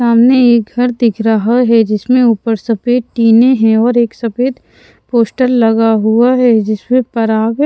सामने एक घर दिख रहा है जिसमें ऊपर सफेद टीने हैं और एक सफेद पोस्टर लगा हुआ है जिसमें पराग --